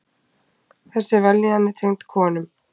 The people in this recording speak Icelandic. Þessi vellíðun er tengd konum.